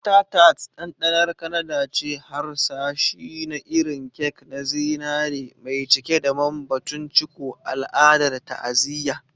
Butter Tart, ɗanɗanar Kanada ce, harsashi na irin kek na zinare mai cike da man-batun-ciko, al'adar ta'aziyya.